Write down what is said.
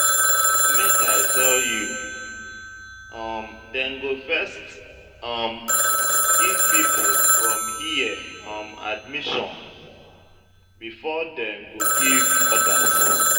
Make I tell you, um dem go first um give pipu from here um admission before dem go give others.